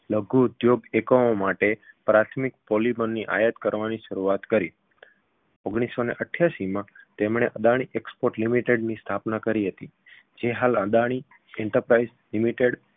લઘુ ઉદ્યોગ એકમો માટે પ્રાથમિક polymer ની આયાત કરવાની શરૂઆત કરી ઓગણીસસોને અઠ્યાશીમાં તેમણે અદાણી export limited ની સ્થાપના કરી જે હાલ અદાણી enterprise limited